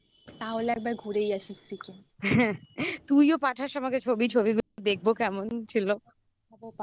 তাহলে একবার ঘুরেই আসি সিকিম।